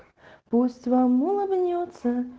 пусть вам улыбнётся